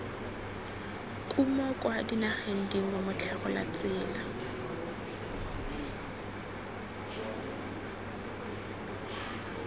kumo kwa dinageng dingwe motlhagolatsela